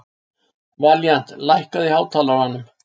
Valíant, lækkaðu í hátalaranum.